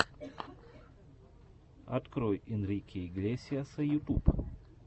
открой энрике иглесиаса ютуб